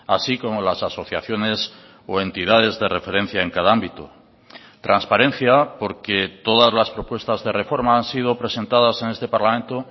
así como las asociaciones o entidades de referencia en cada ámbito transparencia porque todas las propuestas de reforma han sido presentadas en este parlamento